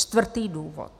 Čtvrtý důvod.